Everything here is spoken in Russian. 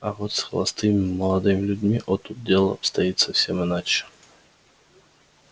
а вот с холостыми молодыми людьми о тут дело обстоит совсем иначе